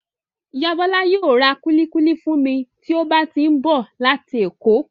Ìyá Bola yóò ra kuli-kuli fún mi tí ó bá ti ń bọ̀ láti èkó.